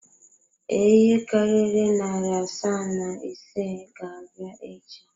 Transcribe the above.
Ee, ihe karịrị narị asaa na ise ga-abịa echi.